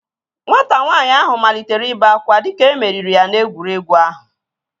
Nwata nwaanyị ahụ malitere ibe akwa dịka e meriri ya n'egwuregwu ahụ